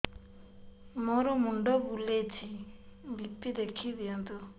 ମୋର ମୁଣ୍ଡ ବୁଲେଛି ବି.ପି ଦେଖି ଦିଅନ୍ତୁ